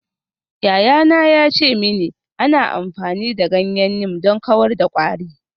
Yayana ya ce mini ana amfani da ganyen neem don kawar da kwari.